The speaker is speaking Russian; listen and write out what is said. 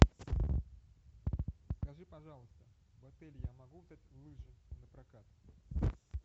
скажи пожалуйста в отеле я могу взять лыжи напрокат